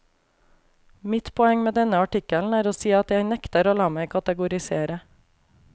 Mitt poeng med denne artikkelen er å si at jeg nekter å la meg kategorisere.